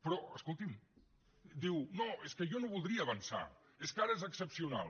però escolti’m diu no és que jo no voldria avançar és que ara és excepcional